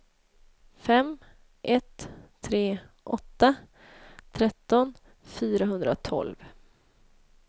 fem ett tre åtta tretton fyrahundratolv